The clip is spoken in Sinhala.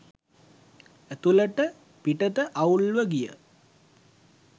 ඇතුළට පිටත අවුල්ව ගිය